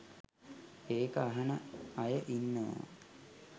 ඒක අහන අය ඉන්නවා